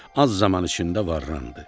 Az zaman içində varlandı.